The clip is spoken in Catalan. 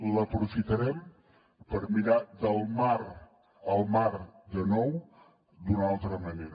l’aprofitarem per mirar el mar de nou d’una altra manera